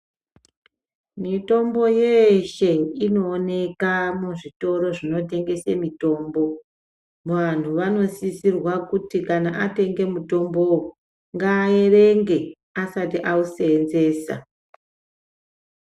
Mitombo yeeshe inowoneka muzvitoro zvinotengesa mitombo. Vantu vanosisirwa kuti kana atenga mutombowo ngaerenge asati awusenzesa.